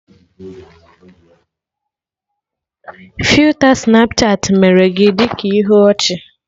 Filta Snapchatị mere gị ị dị ka ihe ọchị